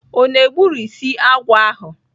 O na-egburisi agwọ ahụ?